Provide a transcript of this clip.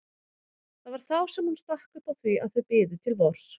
Það var þá sem hún stakk upp á því að þau biðu til vors.